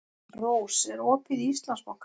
Rós, er opið í Íslandsbanka?